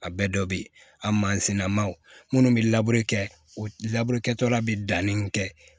A bɛɛ dɔ bɛ ye a mansin nama minnu bɛ labɛn kɛ o laburu kɛtɔla bɛ danni kɛ